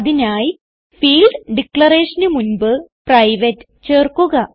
അതിനായി ഫീൽഡ് ഡിക്ളറേഷന് മുൻപ് പ്രൈവേറ്റ് ചേർക്കുക